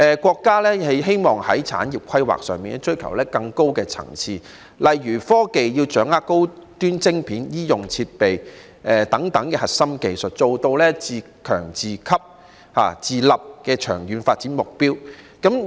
國家在產業規劃上追求更高層次，例如，科技產業要掌握高端晶片、醫用設備等核心技術，達致自強、自給、自立的長遠發展目標。